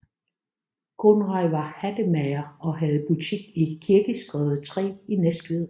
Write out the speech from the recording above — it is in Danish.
Conrad var hattemager og havde butik i Kirkestræde 3 i Næstved